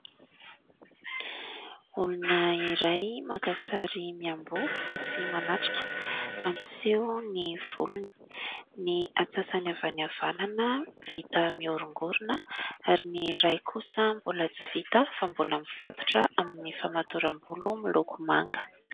Olona iray maka sary miamboho fa tsy manatrika, mampiseho ny volony. Ny antsasany avy any havanana vita miorongorona ary ny ray kosa mbola tsy vita fa mbola mifatotra amin'ny famatoram-bolo miloko manga.